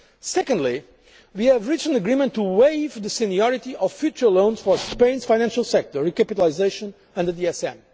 regard. Secondly, we reached an agreement to waive the seniority of future loans for Spain's financial sector recapitalisation under